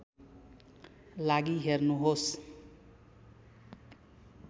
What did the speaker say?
लागि हेर्नुहोस्